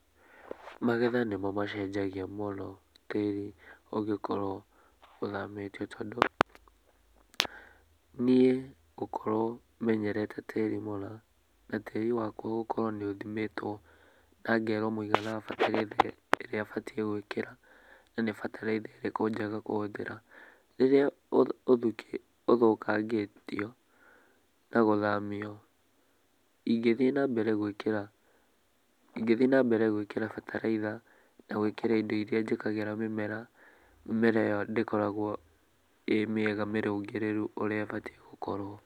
Magetha nĩmo macenjagia mũno tĩri ũngĩkorwo ũthamĩtio tondũ, niĩ ngũkorwo menyerete tĩri muna, na tĩri wakwa gũkorwo nĩ uthimĩtwo na ngerwo mũigana wa bataraitha ĩrĩa batiĩ gwĩkĩra na nĩ bataraitha ĩrĩkũ njega kuhũthĩra. Rĩrĩa ũthũkangĩtio na gũthamio, ingĩthiĩ na mbere gwĩkĩra bataraitha na gwĩkĩra indo iria njĩkĩraga mĩmera, mĩmera ĩyo ndĩkoragwo ĩ mĩega mĩrũngĩrĩru ũrĩa ĩbatiĩ gũkorwo.